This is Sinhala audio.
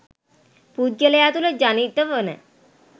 පුද්ගලයා තුළ ජනිත වන